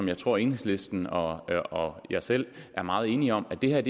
jeg tror enhedslisten og og jeg selv er meget enige om det er